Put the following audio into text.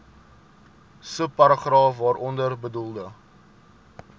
subparagraaf waaronder bedoelde